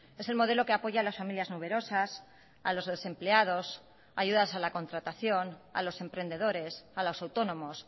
es el modelo que apoya a las familias numerosas a los desempleados ayudas a la contratación a los emprendedores a los autónomos